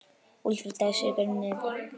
Úlfur dæsir í gegnum nefið.